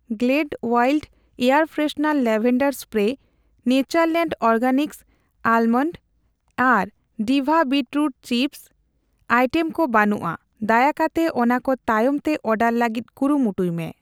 Glade world air freshener lavender spray, Natureland organics almond ᱟᱨ ᱰᱤᱵᱷᱟ beetroot chips item ᱠᱚ ᱵᱟᱹᱱᱩᱜᱼᱟ, ᱫᱟᱭᱟ ᱠᱟᱛᱮ ᱚᱱᱟᱠᱚ ᱛᱟᱭᱚᱢᱛᱮ ᱚᱨᱰᱟᱨ ᱞᱟᱹᱜᱤᱛ ᱠᱩᱨᱩᱢᱩᱴᱩᱭ ᱢᱮ ᱾